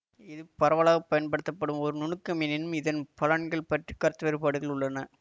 இது பரவலாக பயன்படுத்தப்படும் ஒரு நுணுக்கம் எனினும் இதன் பலன்கள் பற்றி கருத்துவேறுபாடுகள் உள்ளன